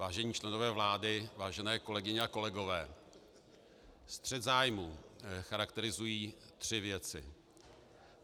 Vážení členové vlády, vážené kolegyně a kolegové, střet zájmů charakterizují tři věci.